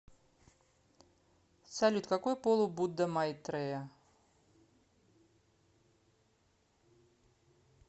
салют какой пол у будда майтрея